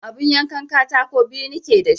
Abun yankan katako biyu nike da shi